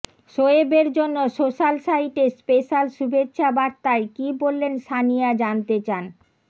শোয়েবের জন্য সোশ্যাল সাইটে স্পেশাল শুভেচ্ছাবার্তায় কী বলেলন সানিয়া জানতে চান